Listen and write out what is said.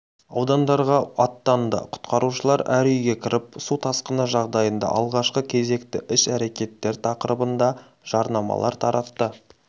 аудандарға аттанды құтқарушылар әр үйге кіріп су тасқыны жағдайында алғашқы кезекті іс-әрекеттер тақырыбында жаднамалар таратты